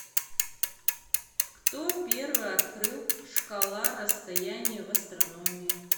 кто первый открыл шкала расстояний в астрономии